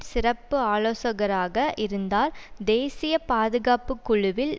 சிறப்பு ஆலோசகராக இருந்தார் தேசிய பாதுகாப்பு குழுவில்